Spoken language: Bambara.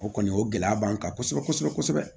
O kɔni o gɛlɛya b'an kan kosɛbɛ kosɛbɛ kosɛbɛ